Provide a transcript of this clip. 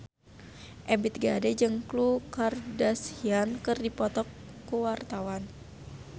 Ebith G. Ade jeung Khloe Kardashian keur dipoto ku wartawan